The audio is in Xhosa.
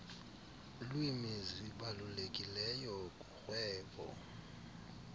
lwimi zibalulekileyo kurhwebo